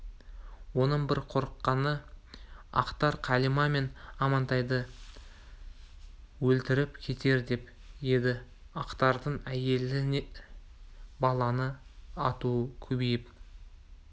оның бір қорыққаны ақтар қалима мен амантайды өлтіріп кетер деп еді ақтардың әйелді баланы атуы көбейіп